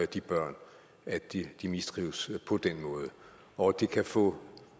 de børn at de de mistrives på den måde og at det kan få en